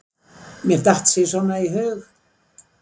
Mér datt sí svona í hug.